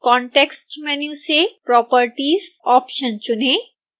context menu से properties option चुनें